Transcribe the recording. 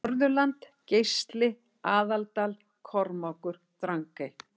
Norðurland Geisli Aðaldal Kormákur Drangey